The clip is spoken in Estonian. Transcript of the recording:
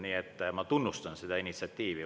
Nii et ma tunnustan seda initsiatiivi.